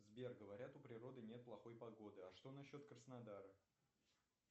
сбер говорят у природы нет плохой погоды а что насчет краснодара